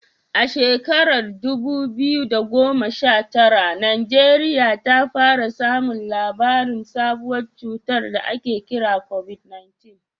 A shekarar dubu biyu da goma sha tara, Najeriya ta fara samun labarin sabuwar cutar da ake kira COVID-19.